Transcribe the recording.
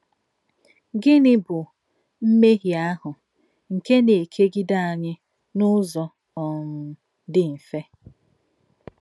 Gínị̀ bụ̀ “mmèhíè àhụ̀ nke nà-èkègìdè ányị̀ n’ǔzọ̀ um dì mfè”?